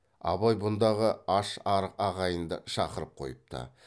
абай бұндағы аш арық ағайынды шақырып қойыпты